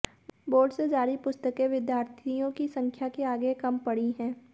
board से जारी पुस्तकें विद्यार्थियों की संख्या के आगे कम पड़ी हैं